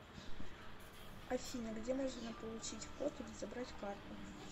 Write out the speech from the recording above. афина где можно получить код или забрать карту